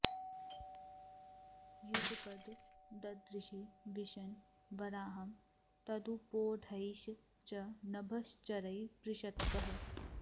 युगपद् ददृशे विशन् वराहं तदुपोढैश् च नभश्चरैः पृषत्कः